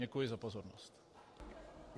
Děkuji za pozornost.